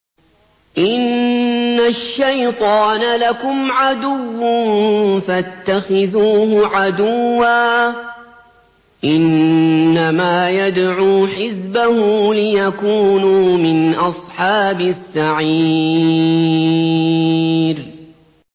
إِنَّ الشَّيْطَانَ لَكُمْ عَدُوٌّ فَاتَّخِذُوهُ عَدُوًّا ۚ إِنَّمَا يَدْعُو حِزْبَهُ لِيَكُونُوا مِنْ أَصْحَابِ السَّعِيرِ